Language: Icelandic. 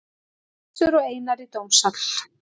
Össur og Einar í dómsal